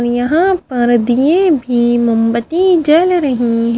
और यहाँ पर दिये भी मोमबत्तीजल रही है।